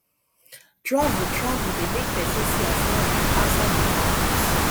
travel travel dey make pesin see as life be outside im domot